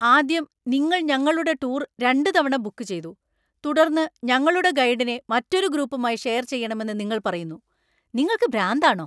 ആദ്യം, നിങ്ങൾ ഞങ്ങളുടെ ടൂർ രണ്ടുതവണ ബുക്ക് ചെയ്തു, തുടർന്ന് ഞങ്ങളുടെ ഗൈഡിനെ മറ്റൊരു ഗ്രൂപ്പുമായി ഷെയർ ചെയ്യണമെന്ന് നിങ്ങൾ പറയുന്നു. നിങ്ങൾക്കു ഭ്രാന്താണോ ?